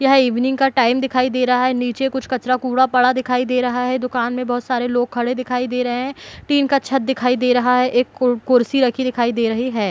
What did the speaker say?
यह ईव्निंग का टाइम दिखाई दे रहा है नीचे कुछ कचरा कूड़ा पड़ा दिखाई दे रहा है दुकान में बहोत सारे लोग खड़े दिखाई दे रहे है टीन का छत दिखाई दे रहा है एक कुर्सी रखी दिखाई दे रही है।